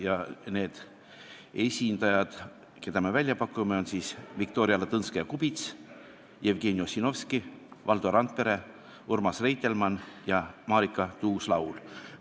Ja need esindajad, keda me välja pakume, on Viktoria Ladõnskaja-Kubits, Jevgeni Ossinovski, Valdo Randpere, Urmas Reitelmann ja Marika Tuus-Laul.